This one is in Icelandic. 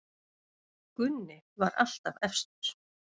Gunni var alltaf efstur.